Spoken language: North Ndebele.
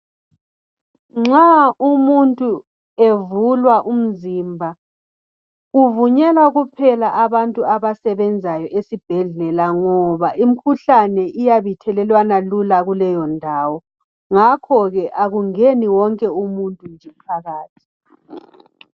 Nxa umuntu evulwa umzimba kuvunyelwa kuphela abantu abasebenzayo esibhedlela ngoba imikhuhlane iyabe ithelelwana lula kuleyo ndawo ngakho ke akungeni wonke umuntu phakathi